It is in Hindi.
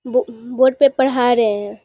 बो बोर्ड पे पढ़ा रहे हैं।